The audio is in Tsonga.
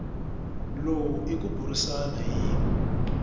lowu i ku burisana hi